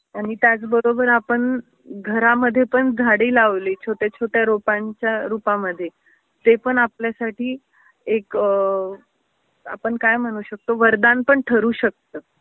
आणि त्याच बरोबर आपण घरामध्ये पण झाडी लावली छोट्याछोट्या रोपांच्या रुपामध्ये तेपण आपल्यासाठी एक आपण काय म्हणू शकतो वरदान पण ठरू शकत.